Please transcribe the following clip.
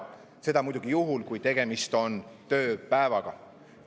Seda muidugi juhul, kui tegemist on tööpäevaga.